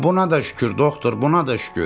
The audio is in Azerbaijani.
Buna da şükür doktor, buna da şükür.